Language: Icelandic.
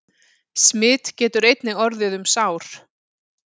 Smit getur einnig orðið um sár.